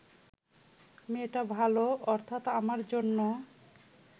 মেয়েটা ভাল অর্থাৎ আমার জন্য